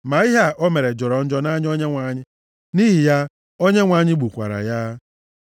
Ma ihe a o mere jọrọ njọ nʼanya Onyenwe anyị. Nʼihi ya Onyenwe anyị gbukwara ya.